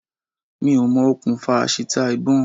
Mi ò mọ okùnfà àṣìta ìbọn.